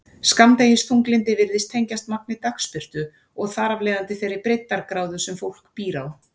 Skammdegisþunglyndi virðist tengjast magni dagsbirtu og þar af leiðandi þeirri breiddargráðu sem fólk býr á.